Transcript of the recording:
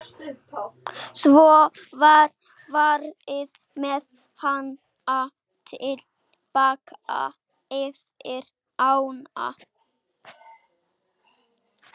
Svo var farið með hana til baka yfir ána.